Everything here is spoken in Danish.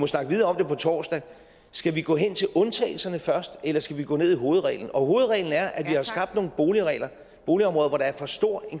snakke videre om på torsdag skal vi gå hen til undtagelserne først eller skal vi gå ned i hovedreglen og hovedreglen er at vi har skabt nogle boligområder hvor der er en for stor